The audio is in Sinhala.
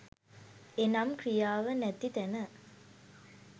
එනම් ක්‍රියාව නැති තැන